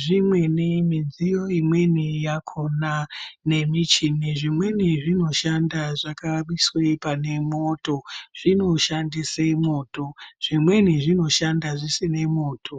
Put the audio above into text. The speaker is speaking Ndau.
Zvimweni midziyo imweni yakona nemichini zvimweni zvinoshanda zvakaiswe pane mwoto, zvinoshandise mwoto, zvimweni zvinoshanda zvisine mwoto.